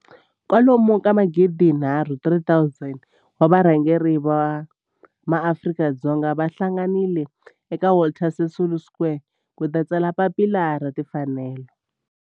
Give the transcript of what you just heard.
Kwalomu ka magidi nharhu, 3 000, wa varhangeri va maAfrika-Dzonga va hlanganile eka Walter Sisulu Square ku ta tsala Papila ra Tinfanelo.